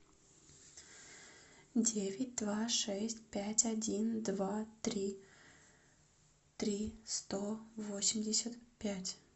девять два шесть пять один два три три сто восемьдесят пять